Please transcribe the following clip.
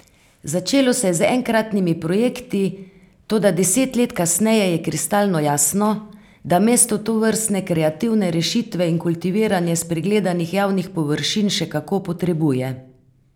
Začelo se je z enkratnimi projekti, toda deset let kasneje je kristalno jasno, da mesto tovrstne kreativne rešitve in kultiviranje spregledanih javnih površin še kako potrebuje.